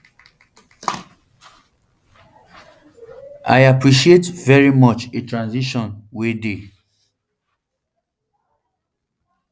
i appreciate very much a transition wey dey